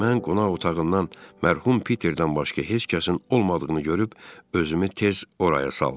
Mən qonaq otağından mərhum Peterdən başqa heç kəsin olmadığını görüb özümü tez oraya saldım.